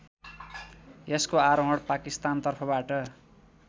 यसको आरोहण पाकिस्तानतर्फबाट